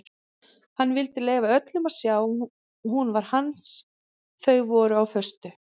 Hann vildi leyfa öllum að sjá að hún var hans þau voru á föstu.